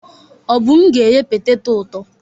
Obum ga-eghe petetọ ụtọ.